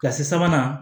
Kasi sabanan